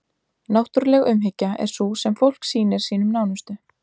náttúruleg umhyggja er sú sem fólk sýnir sínum nánustu